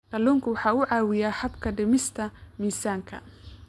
Kalluunku waxa uu caawiyaa habka dhimista miisaanka.